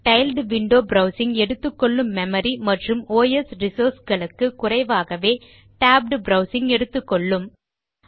tiled window browsing எடுத்துக்கொள்ளும் memory மற்றும் OS resource களுக்கு குறைவாகவே டேப்ட் ப்ரவ்சிங் எடுத்துக்கொள்ளும்